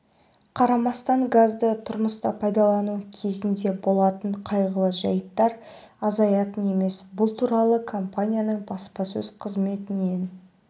қарамастан газды тұрмыста пайдалану кезінде болатын қайғылы жәйттер азаятын емес бұл туралы компанияның баспасөз қызметінен